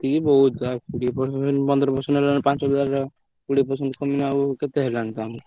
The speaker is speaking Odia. ଏତିକି ବହୁତ ଆଉ କୋଡିଏ percent ପନ୍ଦର percent ହେଲାବେଳକୁ ପାଞ୍ଚହଜରେ ର କୋଡିଏ percent କମିଲବେଳକୁ କେତେ ହେଲାଣି ତ ଆମକୁ?